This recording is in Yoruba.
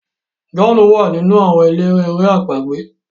John wá nínú àwọn eléré èrè àpagbè.